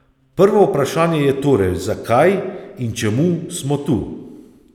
Prvo vprašanje je torej, zakaj in čemu smo tu.